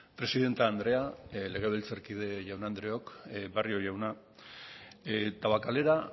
presidente andrea legebiltarkide jaun andreok barrio jauna tabakalera